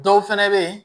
Dɔw fɛnɛ be ye